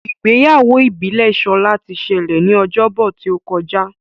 Ìgbéyàwó ìbílè Shola tí ṣẹlẹ ní Ọjọ́ Bọ̀ tíó kọjá.